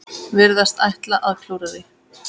Virðast ætla að klúðra því.